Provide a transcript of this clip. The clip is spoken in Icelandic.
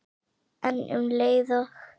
En um leið og